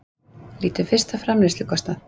Lítum fyrst á framleiðslukostnað.